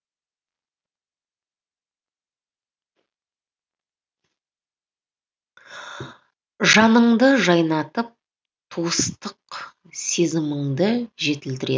жаныңды жайнатып туыстық сезіміңді жетілдіреді